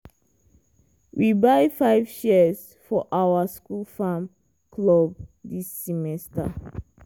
we buy five shears for our school farm club this semester.